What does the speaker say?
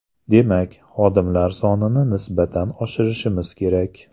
Demak, xodimlar sonini nisbatan oshirishimiz kerak.